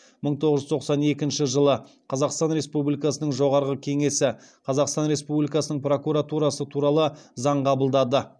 мың тоғыз жүз тоқсан екінші жылы қазақстан республикасының жоғарғы кеңесі қазақстан республикасының прокуратурасы туралы заң қабылдады